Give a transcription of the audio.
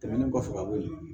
Tɛmɛnen kɔfɛ ka bɔ yen